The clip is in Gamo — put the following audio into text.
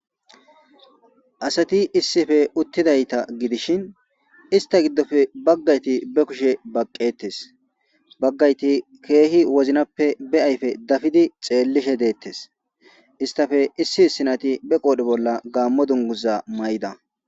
asati issife uttidayta gidishin ista giddofe baggayti be kushe baqqettes baggayti keehi woznappe be ayfe dafidi xeellishe deettes istafe issi hissinati be qoodhi bolla gaammo dunguza may7da